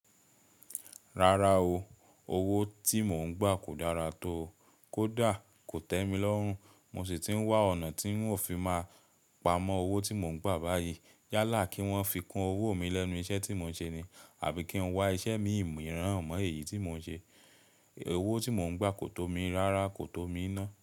Rárá o, owó tí mò ń gbà kò dára tó o. Kódà kò tẹ́ mi lọ́rùn, mo sì ti ń wá ọ̀nà tí ń ò fi máa pamọ́ owó tí mò ń gbà báyìí. Yálà kí wọ́n fi kun owó mi lẹ́nu iṣẹ́ tí mò ń ṣe ni, àbí kí n wá iṣẹ́ mi mìíràn mọ èyí tí mò ń ṣe. Owó tí mò ń gbà kò tómi rárá, kò tómi iná.